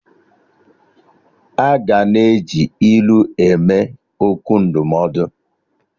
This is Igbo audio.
Aga na-eji ilu eme okwu ndụmọdụ